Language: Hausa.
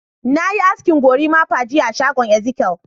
Na yi asken gorimapa jiya a shagon Ezekiyel.